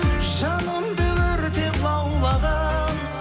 жанымды өртеп лаулаған